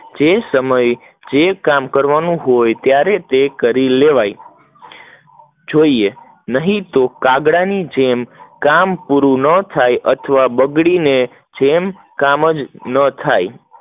જે સમય જે કામ કરવનનું હોય ત્યારે તે કરી લેવાય, જોઈએ નહિ તો કાગડા ની જેમ કામ પૂરું ના થાય અથવા બગડી ને કામ જ ના થાય